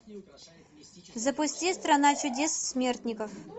запусти страна чудес смертников